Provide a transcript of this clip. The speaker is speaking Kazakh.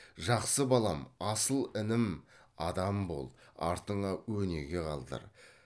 жақсы балам асыл інім адам бол артыңа өнеге қалдыр